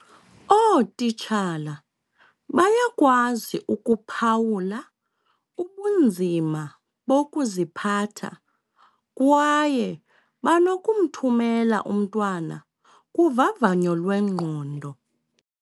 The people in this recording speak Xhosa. Ootitshala bayakwazi ukuphawula ubunzima bokuziphatha kwaye banokumthumela umntwana kuvavanyo lwengqondo.